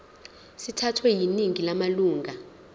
sithathwe yiningi lamalunga